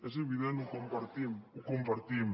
és evident ho compartim ho compartim